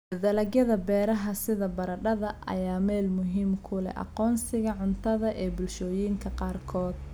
Dalagyada beeraha sida baradhada ayaa meel muhiim ah ku leh aqoonsiga cuntada ee bulshooyinka qaarkood.